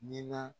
Nin na